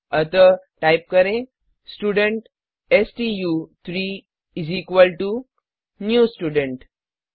अतः टाइप करें स्टूडेंट स्टू3 इस इक्वल टो न्यू स्टूडेंट